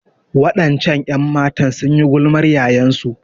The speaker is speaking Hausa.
Waɗancan 'yanmatan sun yi gulmar yayansu.